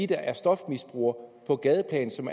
der er stofmisbrugere på gadeplan som